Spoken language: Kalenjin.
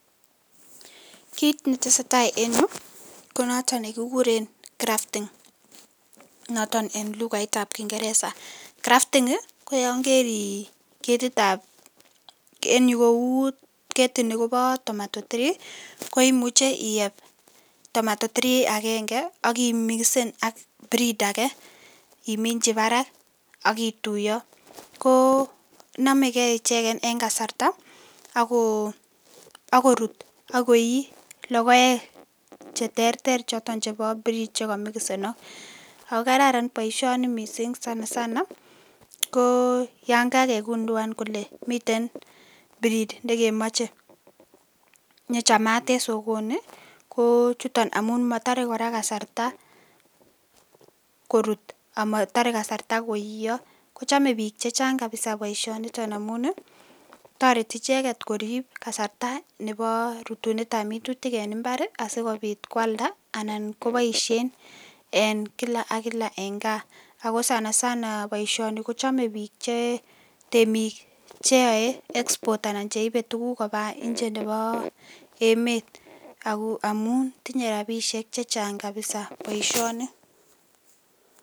Kit netesee taa en yu konoton nekikuren grafting noton en lukaitab kingereza, grafting ii koyon keri ketitab en yu kou ketini kobo tomato tree koimuche iyeb tomato tree agenge ii ak imikisen ak breed ake iminchi barak ak kituyo, koo nomekee icheken en kasarta ak korut ak koi logoek cheterter choton chebo [cs[ breed che komikusenok, ako kararan boisioni sana sana yon kakekunduan kole miten breed nekemoche nechamaat en sokoni kochuton, amun motore kasarta korut amotore kasarta korurio kochome bik chechang boisioniton amun toreti icheket korib kasarta nebo rutunetab minutik en imbar ii asikobit kwalda anan koboisien en kila ak kila en kaa, ako sana sana boisioni kochome bik che temik cheyoe export anan cheibe tuguk kobaa inje nebo emet ako amun tinye rabisiek chechang kabisa boisioni.